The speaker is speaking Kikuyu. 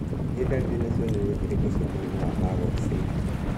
Nĩ dariri na cionereria irĩkũ cia mũrimũ wa PAGOD syndrome?